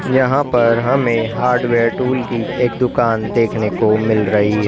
यहां पर हमें हार्डवेयर टूल की एक दुकान देखने को मिल रही है।